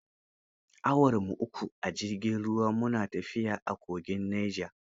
Awarmu uku a jirgin ruwa, mu na tafiya a kogin Neja.